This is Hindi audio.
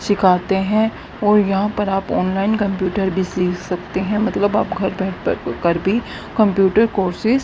सीखाते हैं और यहां पर आप ऑनलाइन कंप्यूटर भी सीख सकते हैं मतलब आप घर बैठ कर भी कंप्यूटर कोर्सेज ।